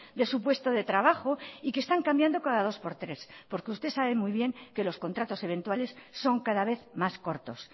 de su puesto de trabajo y que están cambiando cada dos por tres porque usted sabe muy bien que los contratos eventuales son cada vez más cortos